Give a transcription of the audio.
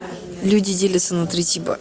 люди делятся на три типа